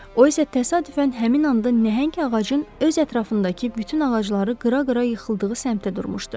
O isə təsadüfən həmin anda nəhəng ağacın öz ətrafındakı bütün ağacları qıra-qıra yıxıldığı səmtə durmuşdu.